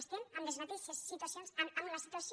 estem en les mateixes situacions en la situació